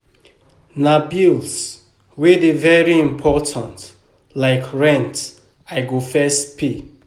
Na bills wey dey very important like rent I go first pay.